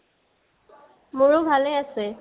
মোৰোভালেই আছে